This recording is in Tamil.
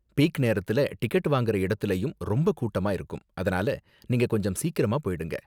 பீக் நேரத்துல டிக்கெட் வாங்குற இடத்துலயும் ரொம்ப கூட்டமா இருக்கும், அதனால நீங்க கொஞ்சம் சீக்கிரமா போயிடுங்க.